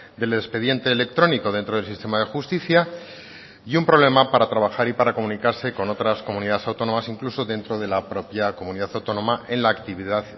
del expediente electrónico dentro del sistema de justicia y un problema para trabajar y para comunicarse con otras comunidades autónomas incluso dentro de la propia comunidad autónoma en la actividad